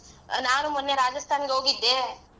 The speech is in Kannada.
ನಾನು ಮೊನ್ನೆ Rajasthan ಗೆ ಹೋಗಿದ್ದೆ.